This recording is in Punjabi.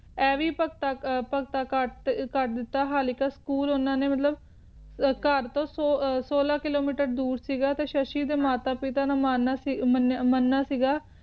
ਐਵੇਂ ਭਗਤਾਂ ਕਟ ਕਟ ਦਿੱਤਾ ਕ ਹਾਲ ਕ school ਉਨ੍ਹਾਂ ਨੇ ਘੇਰ ਤੋਂ ਸੋਲਾਂ ਕਿਲੋਮੀਟਰ ਦੂਰ ਸੀ ਗਯਾ ਤੇ ਸ਼ਸ਼ੀ ਦੇ ਮਾਤਾ ਪਿਤਾ ਨੇ ਮੰਨਿਆ ਸੀ ਗਿਆ